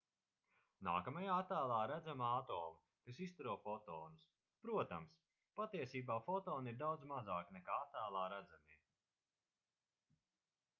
nākamajā attēlā redzami atomi kas izstaro fotonus protams patiesībā fotoni ir daudz mazāki nekā attēlā redzamie